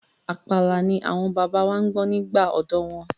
Àpàlà ni àwọn bàbá wa gbọ́ nígbà ọ̀dọ́ wọn.